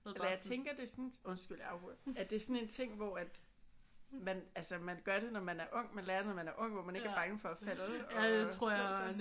Eller jeg tænker det er sådan undskyld jeg afbryder. At det er sådan en ting hvor at man altså man gør det når man er ung. Man lærer det når man er ung hvor man ikke er bange for at falde og slå sig